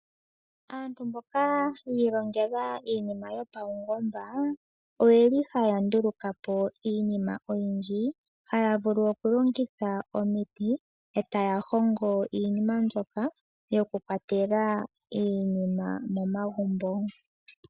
Aantu mboka ya ilongela iinima yopaungomba, oyeli haya nduluka po iinima oyindji. Haya vulu okulongitha omiti etaya hongo iinima mbyoka yokukwatela iinima momagumbo.